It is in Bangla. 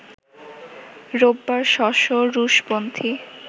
রোববার শ’ শ’ রুশপন্থি